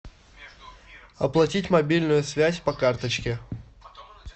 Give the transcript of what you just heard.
оплатить мобильную связь по карточке